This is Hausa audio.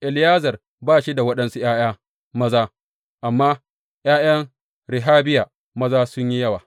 Eliyezer ba shi da waɗansu ’ya’ya maza, amma ’ya’yan Rehabiya maza sun yi yawa.